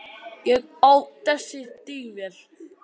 Ég á þessi stígvél.